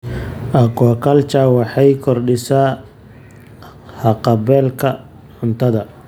Aquaculture waxay kordhisay haqab-beelka cuntada.